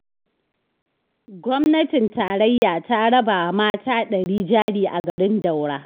Gwamnatin tarayya ta raba wa mata ɗari jari a garin Daura